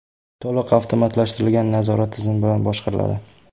To‘liq avtomatlashtirilgan nazorat tizimi bilan boshqariladi.